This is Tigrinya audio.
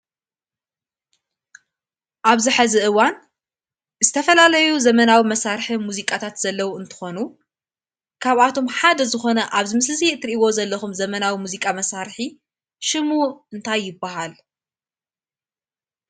ኣብዚ ሕዚ እዋን ዝተፈላለዩ ዘመናዊ መሳርሒ ሙዚቃታት ዘለው እንትኾኑ ካብኣቶም ሓደ ዝኾነ ኣብዚ ምስሊ እዙይ እትርእይዎ ዘለኹም ዘመናዊ መዚቃ መሳርሒ ሽሙ እንታይ ይባሃል?